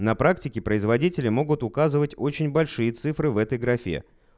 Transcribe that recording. на практике производители могут указывать очень большие цифры в этой графе